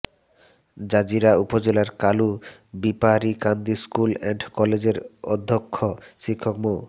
Jazeera উপজেলার Kalu Beparikandi school and কলেজের অধ্যক্ষ শিক্ষক মো